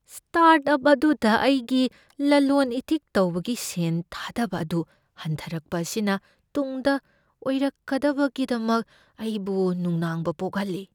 Start up ꯑꯗꯨꯗ ꯑꯩꯒꯤ ꯂꯂꯣꯟ ꯏꯇꯤꯛ ꯇꯧꯕꯒꯤ ꯁꯦꯟ ꯊꯥꯗꯕ ꯑꯗꯨ ꯍꯟꯊꯔꯛꯄ ꯑꯁꯤꯅ ꯇꯨꯡꯗ ꯑꯣꯏꯔꯛꯀꯗꯕꯒꯤꯗꯃꯛ ꯑꯩꯕꯨ ꯅꯨꯡꯅꯥꯡꯕ ꯄꯣꯛꯍꯜꯂꯤ꯫